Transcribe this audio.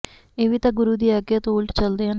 ਇਹ ਵੀ ਤਾਂ ਗੁਰੁ ਦੀ ਆਗਿਆਂ ਤੋਂ ਉਲਟ ਚਲਦੇ ਹਨ